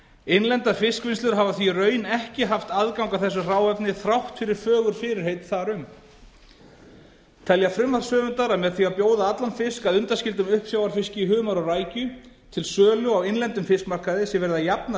innlendar fiskvinnslur hafa því í raun ekki haft aðgang að þessu hráefni þrátt fyrir fögur fyrirheit þar um telja frumvarpshöfundar að með því að bjóða allan fisk að undanskildum uppsjávarfiski humar og rækju til sölu á innlendum fiskmarkaði sé verið að jafna